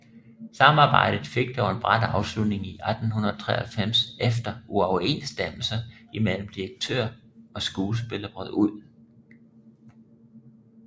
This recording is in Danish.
Samarbejdet fik dog en brat afslutning i 1893 efter uoverensstemmelser imellem direktør og skuespiller brød ud